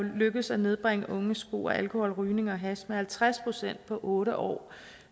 lykkedes at nedbringe unges brug af alkohol rygning og hash med halvtreds procent på otte år